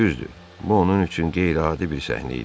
Düzdür, bu onun üçün qeyri-adi bir səhnə idi.